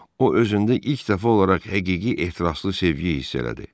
O özündə ilk dəfə olaraq həqiqi ehtiraslı sevgiyi hiss elədi.